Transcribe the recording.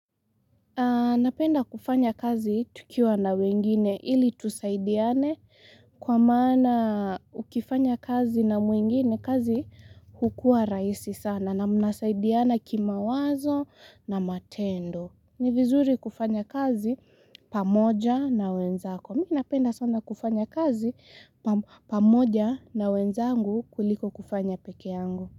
Napenda kufanya kazi tukiwa na wengine ili tusaidiane kwa maana ukifanya kazi na mwngine kazi hukua rahisi sana na mnasaidiana kimawazo na matendo. Ni vizuri kufanya kazi pamoja na wenzako. Mimi napenda sana kufanya kazi pamoja na wenzangu kuliko kufanya pekee yangu.